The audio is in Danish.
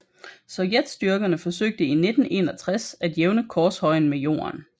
Sovjetstyrkerne forsøgte i 1961 at jævne korshøjen med jorden